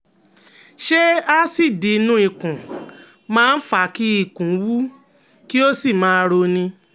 Ṣé aásíìdì inú ikùn máa ń fa kí ikùn wú, kí ó sì máa roni?